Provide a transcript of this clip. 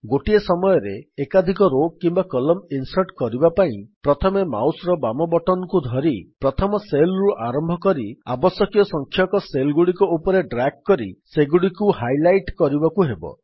ଗୋଟିଏ ସମୟରେ ଏକାଧିକ ରୋ କିମ୍ୱା କଲମ୍ନ ଇନ୍ସର୍ଟ୍ କରିବା ପାଇଁ ପ୍ରଥମେ ମାଉସ୍ ର ବାମ ବଟନ୍ କୁ ଧରି ପ୍ରଥମ ସେଲ୍ ରୁ ଆରମ୍ଭ କରି ଆବଶ୍ୟକୀୟ ସଂଖ୍ୟକ ସେଲ୍ ଗୁଡିକ ଉପରେ ଡ୍ରାଗ୍ କରି ସେଗୁଡ଼ିକୁ ହାଇଲାଇଟ୍ କରିବାକୁ ହେବ